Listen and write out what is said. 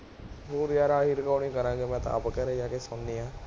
ਹੋਰ ਯਾਰ ਆਹੀ recording ਕਰਾਂਗੇ, ਮੈਂ ਤਾਂ ਆਪ ਘਰੇ ਜਾ ਕੇ ਸੁਣਨੀ ਹੈ